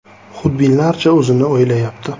Xudbinlarcha o‘zini o‘ylayapti.